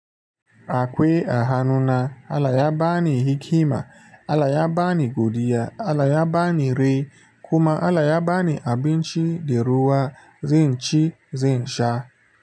Akwai a hannuna, Allah ya bani hikima Allah ya bani godiya, Allah ya bani rai kuma Allah ya bani abinci da ruwa, zanci, zin sha.